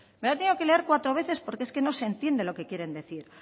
me la he tenido leer cuatro veces porque es que no entiende lo que quieren decir